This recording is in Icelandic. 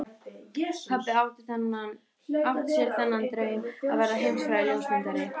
Pabbi átti sér þann draum að verða heimsfrægur ljósmyndari.